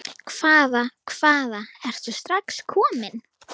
Hvaða, hvaða, ertu strax kominn?